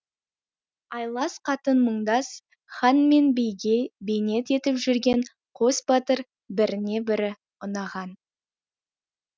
айлас қатын мұңдас хан мен биге бейнет етіп жүрген қос батыр біріне бірі ұнаған